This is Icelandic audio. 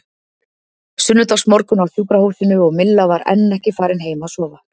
Sunnudagsmorgunn á sjúkrahúsinu og Milla var enn ekki farin heim að sofa.